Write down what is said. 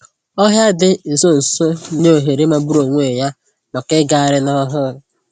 Ọhịa dị nso nso na-enye ohere magburu onwe ya maka ịgagharị n'ọhụụ